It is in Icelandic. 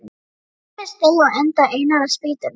Grímur steig á enda einnar spýtunnar.